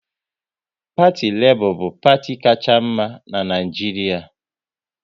Parti Lebọ bu parti kacha mma n'Naijiria